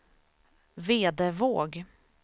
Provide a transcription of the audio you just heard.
Vedevåg